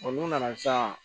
n'u nana sisan